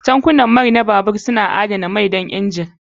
Tankunan mai na babur suna adanawa da samar da mai don injin.